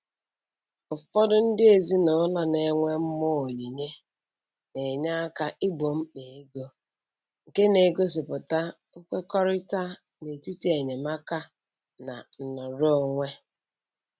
Ụfọdụ ndị ezinụlọ na-enwe mmụọ onyinye na-enye aka igbo mkpa ego, nke na-egosipụta nkwekọrịta n'etiti enyemaka na nnọrọonwe